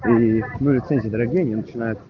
дорогие